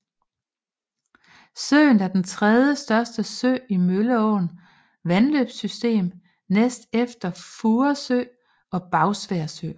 Søen er den tredjestørste sø i Mølleåens vandløbssystem næst efter Furesø og Bagsværd Sø